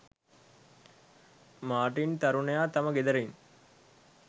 Martin තරුණයා තම ගෙදරින්